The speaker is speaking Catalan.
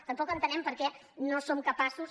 tampoc entenem per què no són capaços